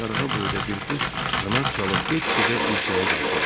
Qarğa boyda bir quş qanad çalıb get-gedə yüksəyə qalxırdı.